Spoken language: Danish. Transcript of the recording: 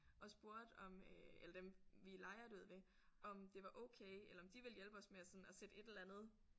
Og spurgte om øh eller dem vi lejer det ud ved om det var okay eller om de ville hjælpe os med at sådan at sætte et eller andet